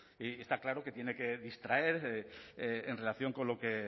y está claro que tiene que distraer en relación con lo que